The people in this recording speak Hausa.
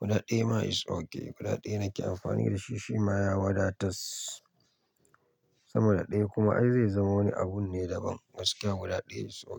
Guda ɗaya ma is okay. Guda ɗaya nake amfani da shi shima ya wadatas. Sama da ɗaya kuma ai zai zama wani abun ne daban. Gaskiya guda ɗaya is oke.